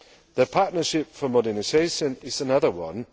The Partnership for Modernisation is another one.